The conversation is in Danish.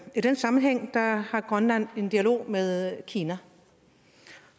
i den sammenhæng har har grønland en dialog med kina